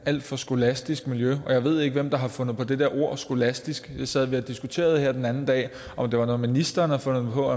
alt for skolastisk miljø jeg ved ikke hvem der har fundet på det der ord skolastisk det sad vi og diskuterede her den anden dag om det var noget ministeren havde fundet på